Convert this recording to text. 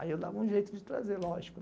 Aí eu dava um jeito de trazer, lógico.